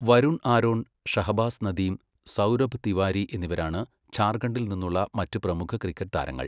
വരുൺ ആരോൺ, ഷഹബാസ് നദീം, സൗരഭ് തിവാരി എന്നിവരാണ് ഝാർഖണ്ഡിൽ നിന്നുള്ള മറ്റ് പ്രമുഖ ക്രിക്കറ്റ് താരങ്ങൾ.